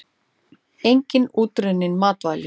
Einnig útrunnin matvæli.